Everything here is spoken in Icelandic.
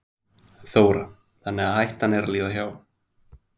Þóra: Þannig að hættan er að líða hjá?